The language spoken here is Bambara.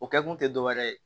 O kɛ kun te dɔwɛrɛ ye